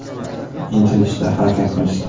Intilishdi, harakat qilishdi.